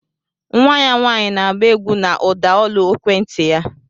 Nwa ya nwanyị na-agba egwú na ụdaolu ekwenti ya